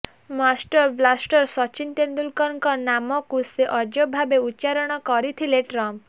master blaster Sachin ତେନ୍ଦୁଲକରଙ୍କ ନାମକୁ ସେ ଅଜବଭାବେ ଉଚ୍ଚାରଣ କରିଥିଲେ ଟ୍ରମ୍ପ